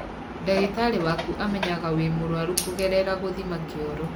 Ndagĩtarĩ waku amenyaga wĩ mũrwaru kũgerera gũthima kĩoro.